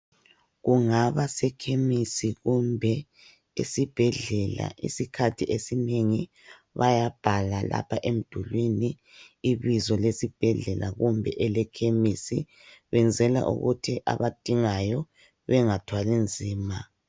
Kungaba sekhemisi kumbe esibhedlela, isikhathi esinengi bayabhala lapha emdulwini ibizo lesibhedlela kumbe elekhemisi benzela ukuthi abadingayo bengathwali nzima